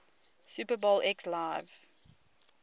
super bowl xliv